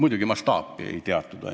Ainult mastaapi muidugi ei teatud.